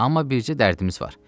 Amma bircə dərdimiz var.